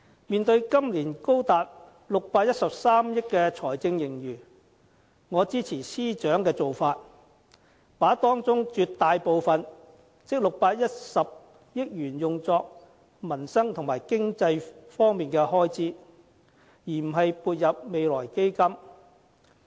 面對今年高達613億元的財政盈餘，我支持司長的做法，把當中的絕大部分，即610億元用作民生和經濟方面的開支，而不是撥入未來基金。